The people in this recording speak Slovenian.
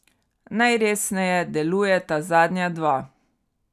Najresneje delujeta zadnja dva.